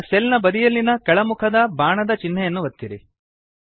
ಈಗ ಸೆಲ್ ನ ಬದಿಯಲ್ಲಿನ ಕೆಳಮುಖದ ಬಾಣದ ಚಿನ್ಹೆಯನ್ನು ಒತ್ತಿರಿ